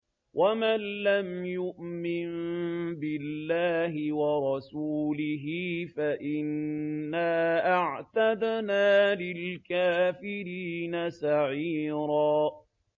وَمَن لَّمْ يُؤْمِن بِاللَّهِ وَرَسُولِهِ فَإِنَّا أَعْتَدْنَا لِلْكَافِرِينَ سَعِيرًا